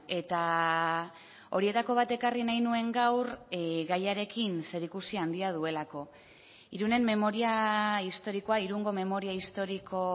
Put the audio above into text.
eta horietako bat ekarri nahi nuen gaur gaiarekin zerikusi handia duelako irunen memoria historikoa irungo memoria historiko